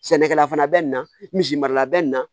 Sɛnɛkɛla fana bɛ nin na misi marala bɛ nin na